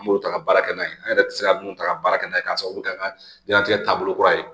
An b'o ta ka baara kɛ n'a ye an yɛrɛ tɛ se ka minnu ta ka baara kɛ n'a ye k'a sababu kɛ an ka diɲɛnatigɛ taabolo kura ye